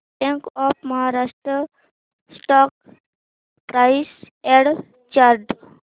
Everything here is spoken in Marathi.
bank of Maharashtra stock price and chart